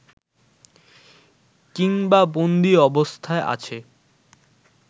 কিংবা বন্দী অবস্থায় আছে